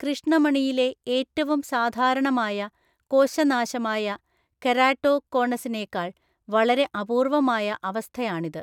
കൃഷ്ണമണിയിലെ ഏറ്റവും സാധാരണമായ കോശനാശമായ കെരാട്ടോകോണസിനേക്കാൾ വളരെ അപൂർവമായ അവസ്ഥയാണിത്.